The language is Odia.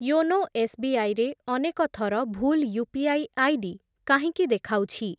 ୟୋନୋ ଏସ୍‌ବିଆଇ ରେ ଅନେକ ଥର ଭୁଲ ୟୁପିଆଇ ଆଇଡି କାହିଁକି ଦେଖାଉଛି?